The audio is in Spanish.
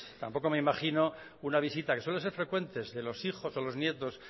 tampoco me imagino una visita que suele ser frecuentes de los hijos o los nietos